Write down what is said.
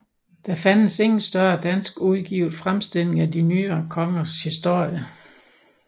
Der fandtes ingen større dansk udgivet fremstilling af de nyere kongers historie